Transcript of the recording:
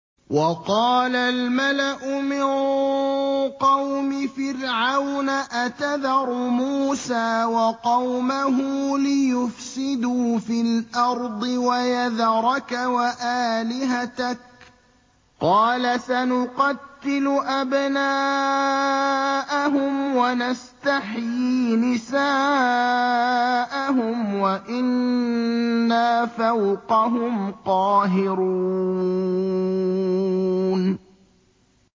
وَقَالَ الْمَلَأُ مِن قَوْمِ فِرْعَوْنَ أَتَذَرُ مُوسَىٰ وَقَوْمَهُ لِيُفْسِدُوا فِي الْأَرْضِ وَيَذَرَكَ وَآلِهَتَكَ ۚ قَالَ سَنُقَتِّلُ أَبْنَاءَهُمْ وَنَسْتَحْيِي نِسَاءَهُمْ وَإِنَّا فَوْقَهُمْ قَاهِرُونَ